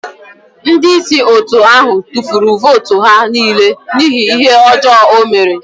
Ndị isi otu ahụ tụfuru votu ha niile n'ihi ihe ọjọọ o mere.